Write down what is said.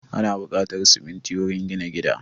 Ana buƙatar siminti wurin gina gida